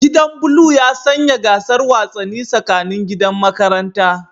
Gidan blue ya sanya gasar wasanni tsakanin gidan makaranta